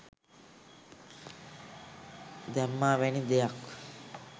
දැම්මා වැනි දෙයක්.